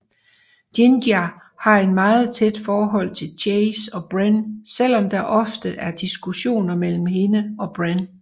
Jinja har et meget tæt forhold til Chase og Bren selvom der ofte er diskussioner mellem hende og Bren